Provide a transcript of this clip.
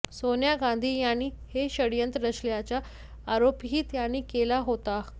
सोनिया गांधी यांनी हे षडयंत्र रचल्याचा आरोपही त्यांनी केला होता